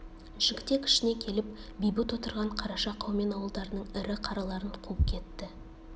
жігітек ішіне келіп бейбіт отырған қараша қаумен ауылдарының ірі қараларын қуып кетті